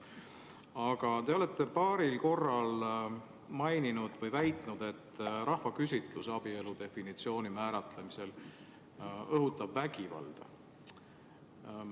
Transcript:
Aga te olete paaril korral maininud või väitnud, et rahvaküsitlus abielu definitsiooni määratlemisel õhutab vägivalda.